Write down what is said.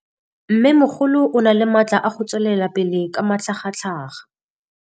Mmêmogolo o na le matla a go tswelela pele ka matlhagatlhaga.